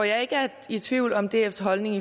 jeg er ikke i tvivl om dfs holdning